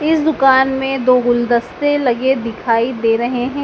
इस दुकान में दो गुलदस्ते लगे दिखाई दे रहे हैं।